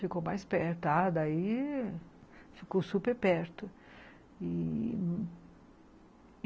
Ficou mais perto, ah, daí ficou super perto e...